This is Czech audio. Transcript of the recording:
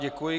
Děkuji.